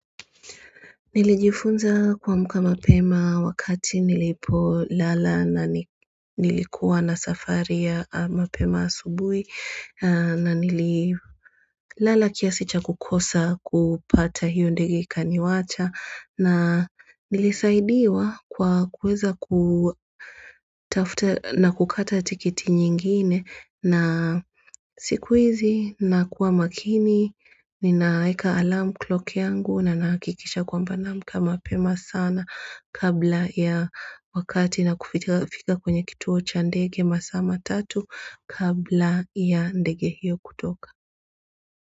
Nilijifunza kuamka mapema wakati nilipo lala na nilikuwa na safari ya mapema asubuhi na nililala kiasi cha kukosa kupata hiyo ndege kaniwacha nilisaidiwa kutafuta na kukata tikiti nyingine siku hizi na kuwa makini Ninaweka alarm clock yangu na nahakikisha kwamba na amka mapema sana kabla ya wakati na kufika kwenye kituo cha ndege masaa matatu kabla ya ndege hiyo kutoka.